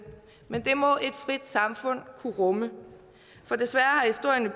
men det må et frit samfund kunne rumme for desværre